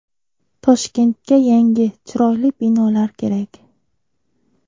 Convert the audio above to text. Toshkentga yangi, chiroyli binolar kerak.